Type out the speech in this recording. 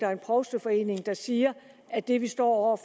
er en provsteforening der siger at det vi står